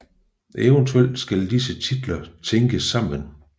Eventuelt skal disse titler tænkes sammen